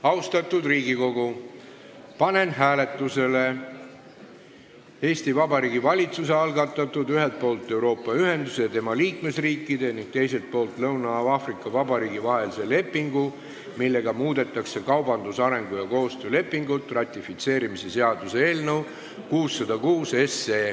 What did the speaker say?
Austatud Riigikogu, panen hääletusele Vabariigi Valitsuse algatatud "Ühelt poolt Euroopa Ühenduse ja tema liikmesriikide ning teiselt poolt Lõuna-Aafrika Vabariigi vahelise lepingu, millega muudetakse kaubandus-, arengu- ja koostöölepingut" ratifitseerimise seaduse eelnõu 606.